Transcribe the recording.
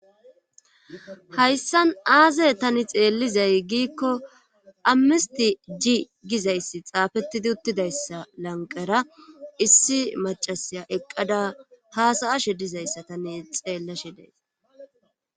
hayssan aaze tani xeellizay giikko ammisti ji gizayssi xaafettidi uttidayssa lanqara issi macasaya eqqada haasaashe dizayssa tani xeellashidays